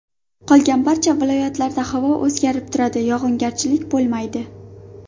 Qolgan barcha viloyatlarda havo o‘zgarib turadi, yog‘ingarchilik bo‘lmaydi.